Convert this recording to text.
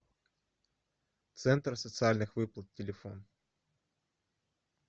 центр социальных выплат телефон